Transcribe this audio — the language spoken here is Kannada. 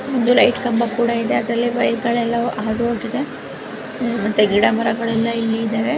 ಒಂದು ಲೈಟ್ ಕಂಬ ಕೂಡ ಇದೆ. ಅದರಲ್ಲಿ ವೈರ್ಗ ಳೆಲ್ಲವೂ ಹಾದುಹೋಗಿದೆ ಮತ್ತೆ ಗಿಡ ಮರಗಳೆಲ್ಲ ಇಲ್ಲಿ ಇದಾವೆ.